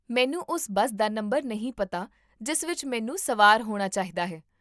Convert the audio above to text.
ਮੈਨੂੰ ਉਸ ਬੱਸ ਦਾ ਨੰਬਰ ਨਹੀਂ ਪਤਾ ਜਿਸ ਵਿੱਚ ਮੈਨੂੰ ਸਵਾਰ ਹੋਣਾ ਚਾਹੀਦਾ ਹੈ